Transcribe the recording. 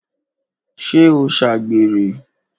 ṣé ó ṣàgbèrè?